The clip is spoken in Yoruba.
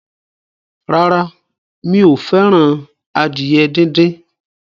Rárá, mi ò fẹ́ràn adìyẹ díndín.